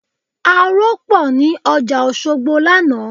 Aró pọ̀ ní ọjà Òṣogbo lánàá